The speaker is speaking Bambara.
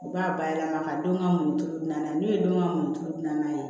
U b'a bayɛlɛma ka don ka muɲuturulu na n'u ye denw ka mɔnituru dilan n'a ye